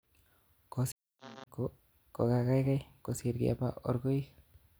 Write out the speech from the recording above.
Kosiib kinam komie ko kagaigai kosir keba orgoik